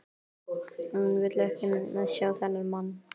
Hún vill ekki sjá þennan mann.